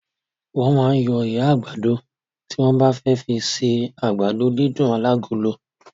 Wọ́n máa ń yọ ihá àgbàdo tí wọ́n bá fẹ́ fi ṣe àgbàdo dídùn alágolo.